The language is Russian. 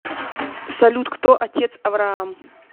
салют кто отец авраам